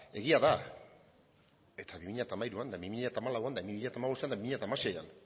egia da eta bi mila hamairuan eta bi mila hamalauan eta bi mila hamabostean eta bi mila hamaseian